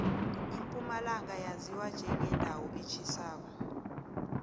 impumalanga yaziwa njengendawo etjhisako